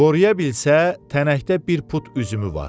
Qoruya bilsə tənəkdə bir put üzümü var.